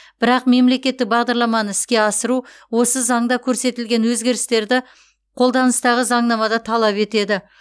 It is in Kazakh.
бірақ мемлекеттік бағдарламаны іске асыру осы заңда көрсетілген өзгерістерді қолданыстағы заңнамада талап етеді